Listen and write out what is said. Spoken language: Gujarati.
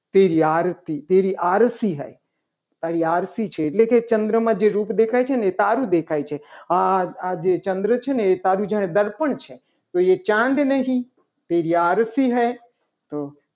તે લાળથી તેરી અળસી હૈ. એ તારી આરસી છે. એટલે કે ચંદ્રમાં જે રૂપ દેખાય છે. ને એ સારું દેખાય છે આજે ચંદ્ર છે. ને તારું જ્યારે દર્પણ છે. તો એ ચાંદ નહીં તેરી આળસી હૈ. તો